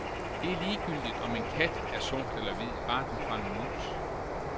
Det er ligegyldigt, om en kat er sort eller hvid, bare den fanger mus.